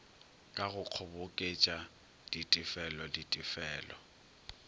ka go kgoboketša ditefelo ditefelo